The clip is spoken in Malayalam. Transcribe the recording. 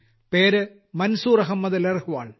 പേര് മൻസൂർ അഹമ്മദ് ലർഹ്വാൾ